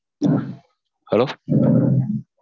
Hello